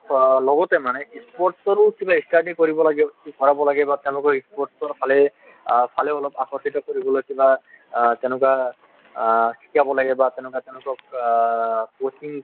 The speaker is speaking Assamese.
লগতে মানে sports ৰো কিবা study কৰিব লাগে ভৰাব লাগে বা তেওঁলোকক sports ৰ ফালে আকৰ্ষিত কৰিবলৈ কিবা অ তেনেকুৱা অ শিকাব লাগে বা তেনেকুৱা তেনেকুৱা অ coaching